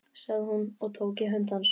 sagði hún og tók í hönd hans.